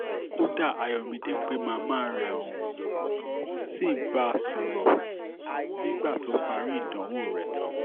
kódà ayọ̀mídé pe màmá rẹ̀ ó um sì bá a sọ̀rọ̀ um ní gbàrà tó parí ìdánwò rẹ̀ tán